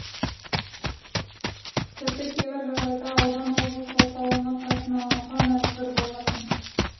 тіпті кейбір жағдайда аудан облыс орталығына қатынауға мәжбүр болатын